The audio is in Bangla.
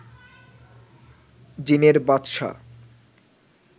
জিনের বাদশা